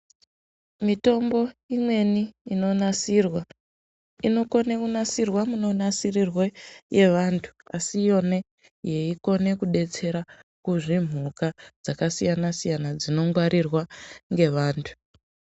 Mitombo imweni inonasirwa inokone kunasirwa munonasirirwe yvantu asi iyone yeikone kudetsere kuzvimhuka zvakasiyana siyana dzinongwarirwa ngevantu.